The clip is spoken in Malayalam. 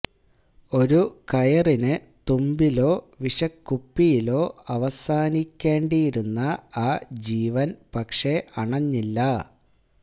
ഒരു കയറിന് തുമ്പിലോ വിഷക്കുപ്പിയിലോ അവസാനിക്കേണ്ടിയിരുന്ന ആ ജീവന് പക്ഷേ അണഞ്ഞില്ല